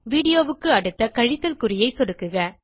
Videoக்கு அடுத்த கழித்தல் குறியை சொடுக்குக